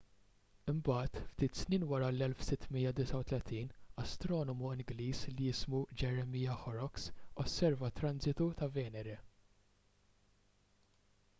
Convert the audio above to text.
imbagħad ftit snin wara fl-1639 astronomu ingliż li jismu jeremiah horrocks osserva transitu ta' venere